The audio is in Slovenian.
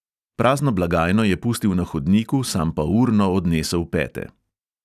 Prazno blagajno je pustil na hodniku, sam pa urno odnesel pete.